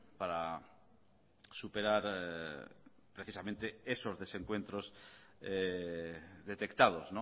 para superar precisamente esos desencuentros detectados